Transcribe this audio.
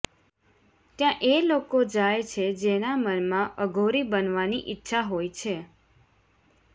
ત્યાં એ લોકો જાય છે જેના મનમાં અઘોરી બનવાની ઈચ્છા હોય છે